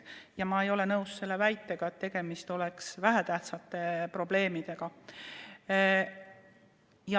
Ja ma ei ole nõus selle väitega, et tegemist on vähetähtsate probleemidega.